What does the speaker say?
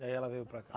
Daí ela veio para cá?